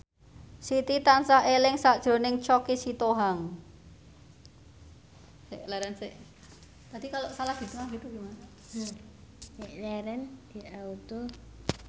Siti tansah eling sakjroning Choky Sitohang